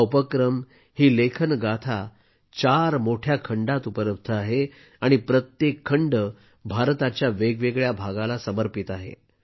हा उपक्रम ही लेखन गाथा चार मोठ्या खंडात उपलब्ध आहे आणि प्रत्येक खंड भारताच्या वेगवेगळ्या भागाला समर्पित आहे